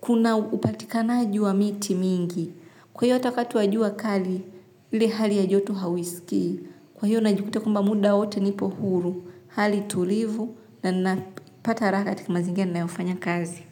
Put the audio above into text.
kuna upatikanaji wa miti mingi. Kwa hiyo hata wakati wa jua kali, ile hali ya joto hauiskii. Kwa hiyo najikuta kwamba muda wote nipo huru, hali tulivu, na ninapata raha katika mazingira ninayofanya kazi.